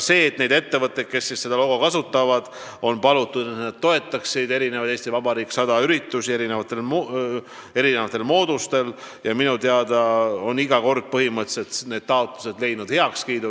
Ettevõtteid, kes seda logo kasutavad, ongi palutud, et nad toetaksid "Eesti Vabariik 100" üritusi mitmesugusel moel, ja minu teada on ettevõtete taotlused üldiselt rahuldatud.